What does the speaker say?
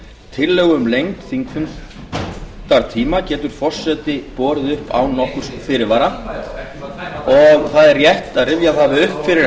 tillögu um lengd þingfundatíma getur forseti borið upp án nokkurs fyrirvara og það er rétt að rifja það upp fyrir